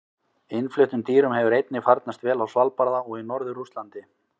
Innfluttum dýrum hefur einnig farnast vel á Svalbarða og í norður Rússlandi.